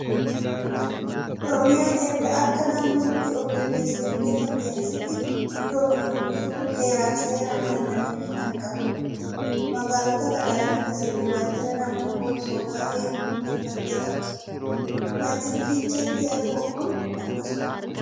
Oromiyaan erga akka naannootti of dandeessee hundeeffamteen asitti mirga ofiin of bulchuu heeraa fi seeraan kennameefii kan qabdudha. Magaalota garaa garaa keessatti waajjira naamusa poolisootaa eegu hundeeffattee qabdi. Waajjirri Fiicheetti argamu kun akkasumadha.